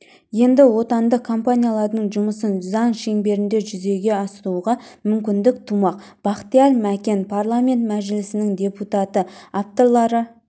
енді отандық компаниялардың жұмысын заң шеңберінде жүзеге асыруға мүмкіндік тумақ бахтияр мәкен парламент мәжілісінің депутаты авторлары